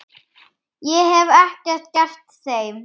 Ég hef ekkert gert þeim.